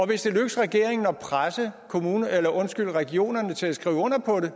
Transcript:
det så lykkes regeringen at presse regionerne til at skrive under på det